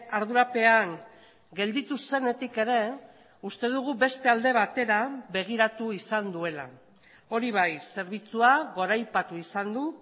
ardurapean gelditu zenetik ere uste dugu beste alde batera begiratu izan duela hori bai zerbitzua goraipatu izan du